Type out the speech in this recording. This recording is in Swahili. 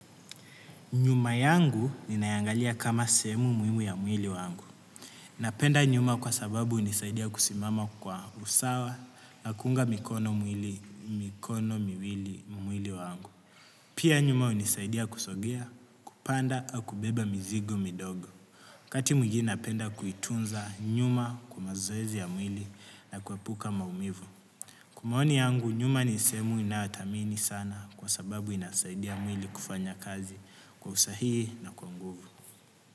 Nyuma yangu ninaiangalia kama sehemu muhimu ya mwili wangu. Napenda nyuma kwa sababu hunisaidia kusimama kwa usawa na kuunga mikono miwili mwili wangu. Pia nyuma hunisaidia kusogea, kupanda, au kubeba mizigo midogo. Wakati mwingine napenda kuitunza nyuma kwa mazoezi ya mwili na kuepuka maumivu. Kwa maoni yangu nyuma ni sehemu ninayothamini sana kwa sababu inasaidia mwili kufanya kazi kwa usahihi na kwa nguvu.